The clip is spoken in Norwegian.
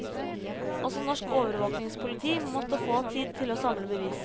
Også norsk overvåkingspoliti måtte få tid til å samle bevis.